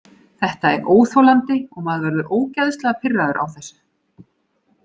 Þetta er óþolandi og maður verður ógeðslega pirraður á þessu.